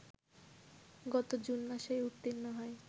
গত জুন মাসেই উত্তীর্ণ হয়